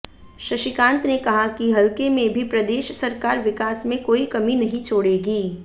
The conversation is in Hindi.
शशिकांत ने कहा कि हलके में भी प्रदेश सरकार विकास में कोई कमी नहीं छोड़ेगी